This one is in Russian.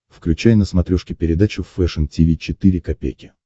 включай на смотрешке передачу фэшн ти ви четыре ка